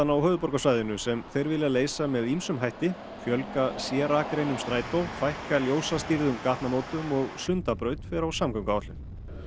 á höfuðborgarsvæðinu sem þeir vilja leysa með ýmsum hætti fjölga Strætó fækka gatnamótum og Sundabraut fer á samgönguáætlun